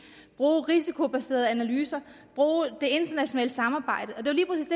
bruge risikobaserede analyser bruge det internationale samarbejde